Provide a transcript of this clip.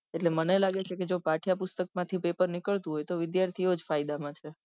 એટલે મને લાગે છે કે પાઠ્યપુસ્તક મા થી પપેર નીકળતું હોય તો વિદ્યાર્થીઓ જ ફાયદા માં છે